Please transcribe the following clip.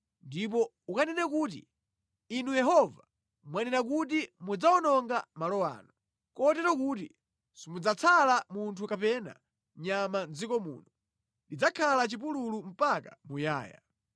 Ndipo ukanene kuti, ‘Inu Yehova, mwanena kuti mudzawononga malo ano, kotero kuti simudzatsala munthu kapena nyama mʼdziko muno; lidzakhala chipululu mpaka muyaya.’